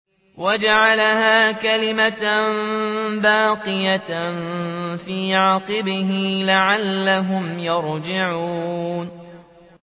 وَجَعَلَهَا كَلِمَةً بَاقِيَةً فِي عَقِبِهِ لَعَلَّهُمْ يَرْجِعُونَ